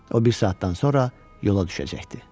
O bir saatdan sonra yola düşəcəkdi.